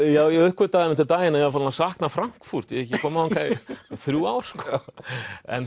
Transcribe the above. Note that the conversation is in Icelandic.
já ég uppgötvaði einmitt um daginn að ég var farinn að sakna Frankfurt ég hef ekki komið þangað í þrjú ár en